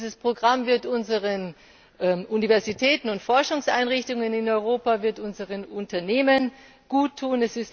Dieses Programm wird unseren Universitäten und Forschungseinrichtungen in Europa und unseren Unternehmen gut tun.